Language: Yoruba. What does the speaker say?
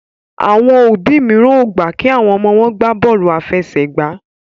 Àwọn òbí míràn o gbà kí àwọn ọmọ wón gbàbóòlù afẹsẹgba.